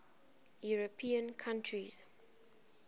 european countries